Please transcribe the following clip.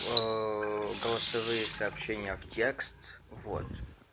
голосовые сообщения в текст вот